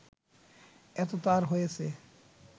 এতে তার হয়েছে